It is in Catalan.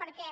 perquè